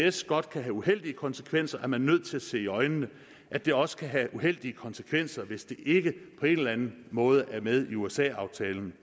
isds godt kan have uheldige konsekvenser er man nødt til at se i øjnene at det også kan have uheldige konsekvenser hvis det ikke på en eller anden måde er med i usa aftalen